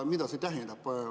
Mida see tähendab?